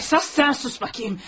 Əsas sən sus baxım.